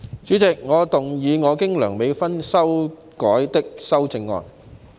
主席，我動議我經修改的修正案。